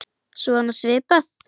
Svona svipað.